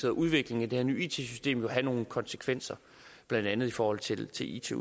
og udviklingen af det her nye it system jo have nogle konsekvenser blandt andet i forhold til til it